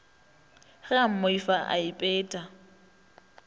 ge a mmoifa a ipeta